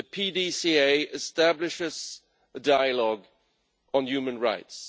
The PDCA establishes a dialogue on human rights.